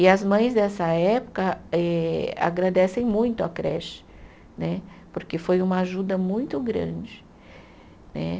E as mães dessa época eh, agradecem muito à creche né, porque foi uma ajuda muito grande né.